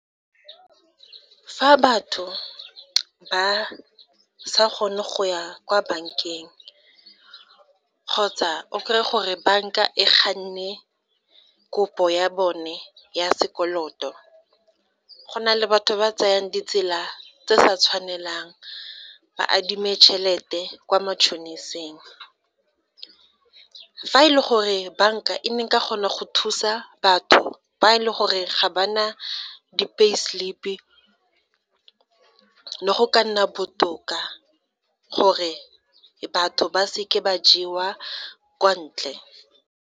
Fa batho ba sa kgone go ya kwa bankeng kgotsa o kry-e gore banka e ganne kopo ya bone ya sekoloto, go na le batho ba tsayang ditsela tse di sa tshwanelang ba adime chelete kwa matšhoniseng. Fa e le gore banka e ne e ka kgona go thusa batho fa e le gore ga ba na di-pay slip le go ka nna botoka gore batho ba se ke ba jewa kwa ntle.